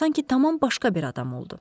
Sanki tamam başqa bir adam oldu.